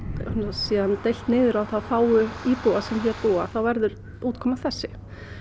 síðan deilt niður á þá fáu íbúa sem hér búa þá verður útkoman þessi